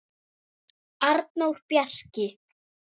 Arnór Bjarki.